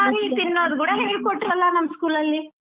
ತರ್ಕಾರಿ ತಿನ್ನೋದ್ ಕೂಡಾ ಹೇಳ್ಕೊಟ್ರಲ್ಲಾ ನಮ್ school ಅಲ್ಲಿ.